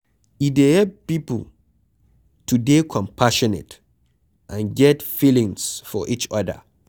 e dey help pipo to dey compassionate and get feelings for each oda